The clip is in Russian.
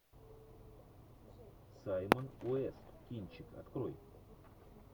саймон уэст кинчик открой